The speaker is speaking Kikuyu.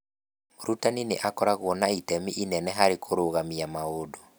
Mũrutani nĩ akoragwo na itemi inene harĩ kũrũgamia maũndũ.